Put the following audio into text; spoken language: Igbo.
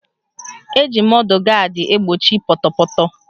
Eji mọdụ gaadị egbochi pọtọpọtọ